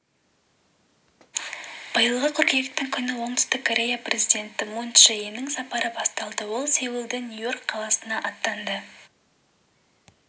биылғы қыркүйектің күні оңтүстік корея президенті мун чже иннің сапары басталды ол сеулден нью-йорк қаласына аттанды